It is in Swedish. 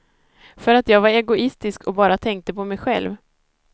För att jag var egoistisk och bara tänkte på mig själv.